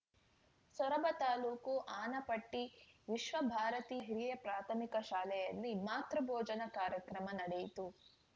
ಸೊರಬ ತಾಲೂಕು ಆನವಟ್ಟಿವಿಶ್ವಭಾರತಿ ಹಿರಿಯ ಪ್ರಾಥಮಿಕ ಶಾಲೆಯಲ್ಲಿ ಮಾತೃಭೋಜನ ಕಾರ್ಯಕ್ರಮ ನಡೆಯಿತು